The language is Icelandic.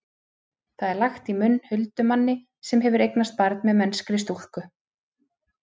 það er lagt í munn huldumanni sem hefur eignast barn með mennskri stúlku